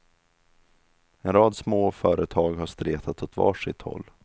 En rad små företag har stretat åt var sitt håll.